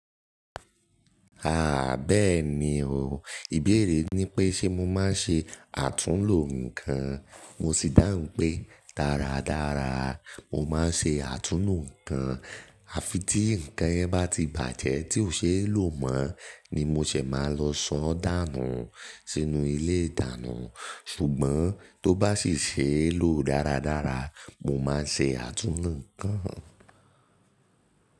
Àá bẹ́ẹ̀ni o, ìbéèrè ni pé ṣe mo máa ń ṣe àtúnlo nǹkan. Mo sì dáhùn pé dáradára mo máa ń ṣe àtúnlo nǹkan. A fi tí nǹkan yẹn bá ti bàjẹ́ tí ò ṣe é lò mọ́ ni mo ṣè máa lọ san dànù ú sínú ilé ìdáná. Ṣùgbọ́n tó bá sì ṣe é lò dáradára, mo máa ń ṣe àtúnlo nǹkan.